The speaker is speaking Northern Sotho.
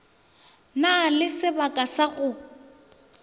na le sebaka sa go